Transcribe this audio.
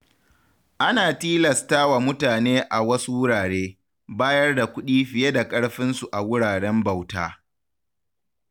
Ana tilasta wa mutane a wasu wurare, bayar da kuɗi fiye da ƙarfinsu a wuraren bauta.